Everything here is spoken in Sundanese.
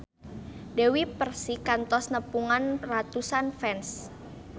Dewi Persik kantos nepungan ratusan fans